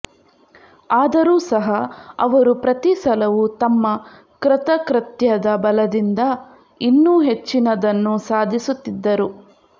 ಆದರೂ ಸಹ ಅವರು ಪ್ರತಿಸಲವೂ ತಮ್ಮ ಕೃತಕೃತ್ಯದ ಬಲದಿಂದ ಇನ್ನೂ ಹೆಚ್ಚಿನದನ್ನು ಸಾಧಿಸುತ್ತಿದ್ದರು